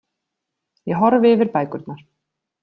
Ég horfi yfir bækurnar.